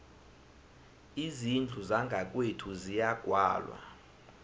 izindlu zangakwethu ziyagwalwa